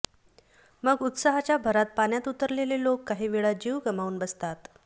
मग उत्साहाच्या भरात पाण्यात उतरलेले लोक काहीवेळा जीव गमावून बसतात